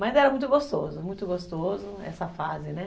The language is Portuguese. Mas era muito gostoso, muito gostoso essa fase, né?